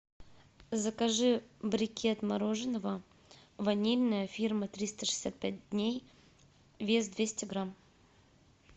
закажи брикет мороженого ванильное фирма триста шестьдесят пять дней вес двести грамм